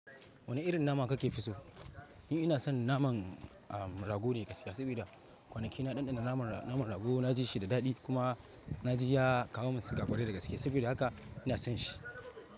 Wane irin nama kake fi so? Ni ina son naman, ah, rago ne gaskiya. Saboda kwanaki na ɗanɗana naman ra-, naman rago na ji shi da daɗi kuma na ji ya kawo min siga ƙwarai da gaskiya. Saboda haka ina son shi.